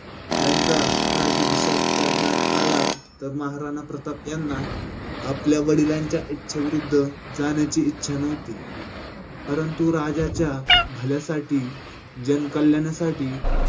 त्याचा राज्याभिषेक करण्यात आला. तर महाराणा प्रताप यांना आपल्या वडिलांच्या इच्छेविरुध्द जाण्याची इच्छा नव्हती. परंतु राज्याच्या भल्यासाठी जनकल्याणासाठी